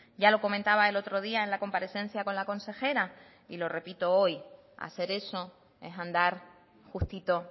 ya lo comentaba el otro día en la comparecencia con la consejera y lo repito hoy hacer eso es andar justito